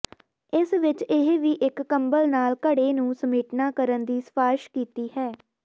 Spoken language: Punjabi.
ਇਸ ਵਿਚ ਇਹ ਵੀ ਇੱਕ ਕੰਬਲ ਨਾਲ ਘੜੇ ਨੂੰ ਸਮੇਟਣਾ ਕਰਨ ਦੀ ਸਿਫਾਰਸ਼ ਕੀਤੀ ਹੈ